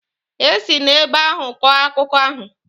E si n'ebe ahụ kọọ akụkọ ahụ.